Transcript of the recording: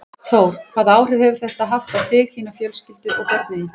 Þór: Hvaða áhrif hefur þetta haft á þig, þína fjölskyldu og á börnin þín?